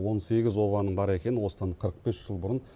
он сегіз обаның бар екенін осыдан қырық бес жыл бұрын